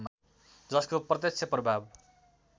जसको प्रत्यक्ष प्रभाव